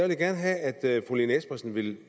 vil gerne have at fru lene espersen vil